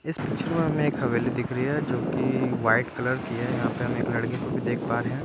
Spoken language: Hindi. इस पिक्चर में हमे एक हवेली दिख रहे हैं जो की वाइट कलर की है यहाँ पे हम एक लड़के को भी देख पा रहे हैं।